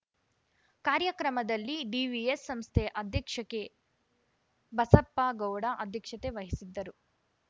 ಕಾರ್ಯಕ್ರಮದಲ್ಲಿ ಡಿವಿಎಸ್‌ ಸಂಸ್ಥೆ ಅಧ್ಯಕ್ಷ ಕೆಬಸಪ್ಪ ಗೌಡ ಅಧ್ಯಕ್ಷತೆ ವಹಿಸಿದ್ದರು